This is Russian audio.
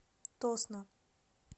тосно